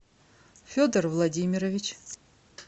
федор владимирович